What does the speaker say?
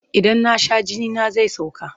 Idan na sha jinina zai sauka.